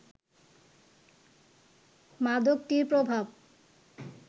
মাদকটির প্রভাব